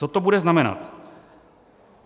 Co to bude znamenat?